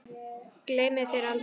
Gleymi þér aldrei.